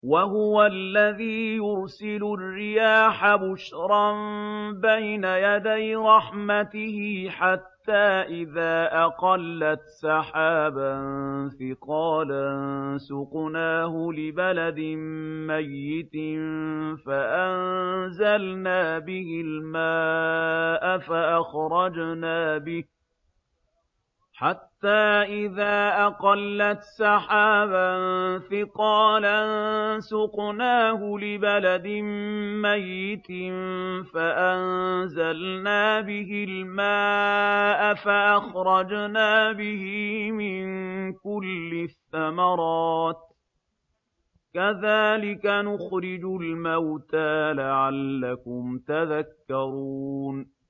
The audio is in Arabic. وَهُوَ الَّذِي يُرْسِلُ الرِّيَاحَ بُشْرًا بَيْنَ يَدَيْ رَحْمَتِهِ ۖ حَتَّىٰ إِذَا أَقَلَّتْ سَحَابًا ثِقَالًا سُقْنَاهُ لِبَلَدٍ مَّيِّتٍ فَأَنزَلْنَا بِهِ الْمَاءَ فَأَخْرَجْنَا بِهِ مِن كُلِّ الثَّمَرَاتِ ۚ كَذَٰلِكَ نُخْرِجُ الْمَوْتَىٰ لَعَلَّكُمْ تَذَكَّرُونَ